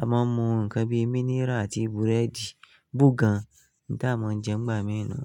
a máa mú ǹkan bíi mínírà àti búrẹ́dì, bogàn n táa máa ń jẹ ìgbà mí ì nu.